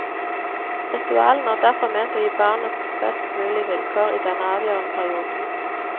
Ritualene er derfor ment å gi barnet best mulige vilkår i denne avgjørende perioden.